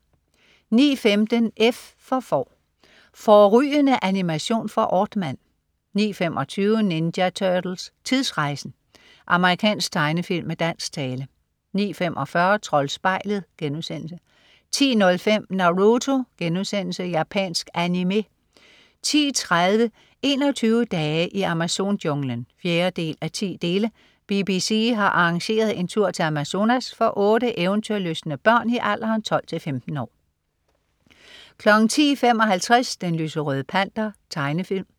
09.15 F for får. Fårrygende animation fra Aardman 09.25 Ninja Turtles: Tidsrejsen! Amerikansk tegnefilm med dansk tale 09.45 Troldspejlet* 10.05 Naruto.* Japansk animé 10.30 21 dage i Amazon-junglen 4:10. BBC har arrangeret en tur til Amazonas for otte eventyrlystne børn i alderen 12-15 år 10.55 Den lyserøde Panter. Tegnefilm